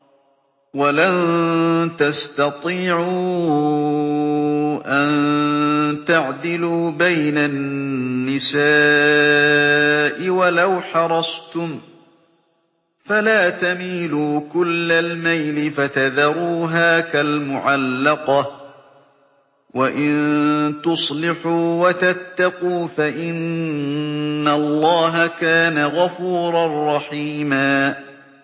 وَلَن تَسْتَطِيعُوا أَن تَعْدِلُوا بَيْنَ النِّسَاءِ وَلَوْ حَرَصْتُمْ ۖ فَلَا تَمِيلُوا كُلَّ الْمَيْلِ فَتَذَرُوهَا كَالْمُعَلَّقَةِ ۚ وَإِن تُصْلِحُوا وَتَتَّقُوا فَإِنَّ اللَّهَ كَانَ غَفُورًا رَّحِيمًا